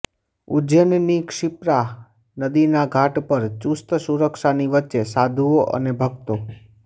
ઉજ્જૈનની ક્ષિપ્રા નદીના ઘાટ પર ચુસ્ત સુરક્ષાની વચ્ચે સાધુઓ અને ભક્તો